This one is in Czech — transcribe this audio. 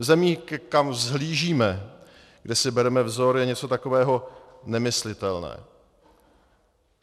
V zemích, kam vzhlížíme, kde si bereme vzor, je něco takového nemyslitelné.